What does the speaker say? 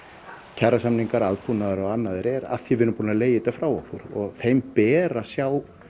kjarasamningar aðbúnaður eða annað er af því við erum búin að leigja þetta frá okkur þeim ber að sjá